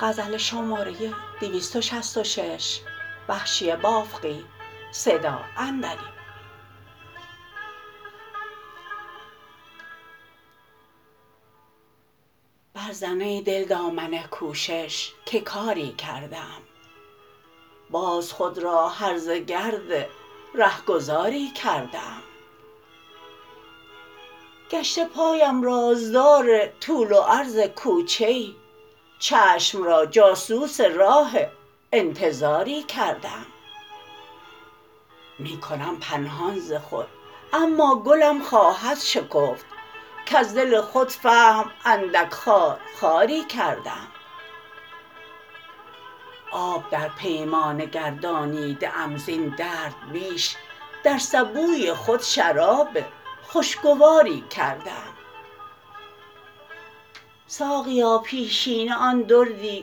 برزن ای دل دامن کوشش که کاری کرده ام باز خود را هرزه گرد رهگذاری کرده ام گشته پایم راز دار طول و عرض کوچه ای چشم را جاسوس راه انتظاری کرده ام می کنم پنهان ز خود اما گلم خواهد شکفت کز دل خود فهم اندک خار خاری کرده ام آب در پیمانه گردانیده ام زین درد بیش در سبوی خود شراب خوشگواری کرده ام ساقیا پیشینه آن دردی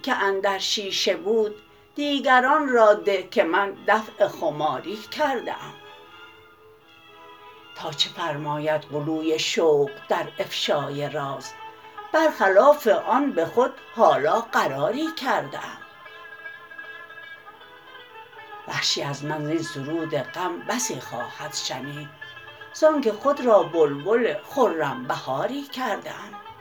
که اندر شیشه بود دیگران را ده که من دفع خماری کرده ام تا چه فرماید غلوی شوق در افشای راز برخلاف آن به خود حالا قراری کرده ام وحشی از من زین سرود غم بسی خواهد شنید زانکه خود را بلبل خرم بهاری کرده ام